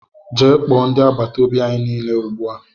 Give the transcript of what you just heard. Gee kpoo ndị agbataobi anyị niile ugbua!!!!